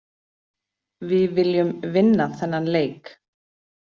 Við viljum vinna þennan leik.